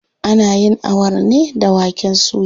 Ana yin Awara ne da waken suya.